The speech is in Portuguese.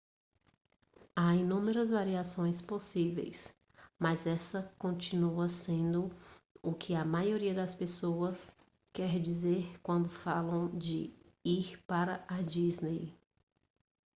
há inúmeras variações possíveis mas essa continua sendo o que a maioria das pessoas quer dizer quando falam de ir para a disney